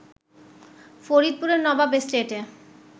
ফরিদপুরের নবাব এস্টেটে